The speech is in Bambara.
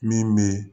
Min bɛ